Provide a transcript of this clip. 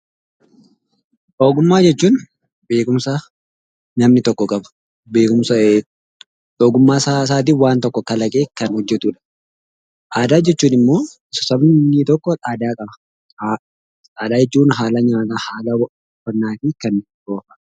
Ogummaa jechuun beekumsa namni tokko qabu ogummaasaatiin waan tokko kalaqee kan hojjetudha. Aadaa jechuun immoo sabni tokko aadaa qaba. Aadaa jechuun haala nyaataa, haala uffataa fi kan biroodha.